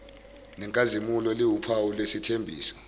nenkazimulo liwuphawu lwesithembiso